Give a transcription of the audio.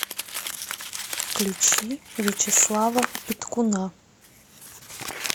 включи вячеслава петкуна